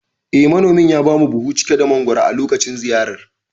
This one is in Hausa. Eh, Manomin ya bamu buhu cike da mangoro a lokacin ziyarar.